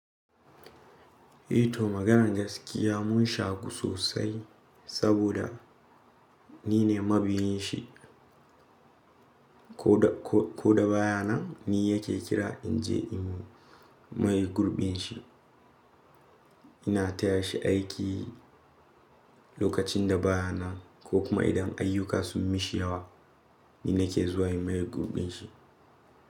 Eh to maganan gaskiya mun shaku sosai saboda ni ne mabiyin shi. Ko da, ko da baya nan ni yake kira in je in yi maye gurbin shi. Ina taya shi aiki lokacin da baya nan ko kuma idan ayyuka sun mishi yawa ni nake zuwa in yi maye gurbin shi.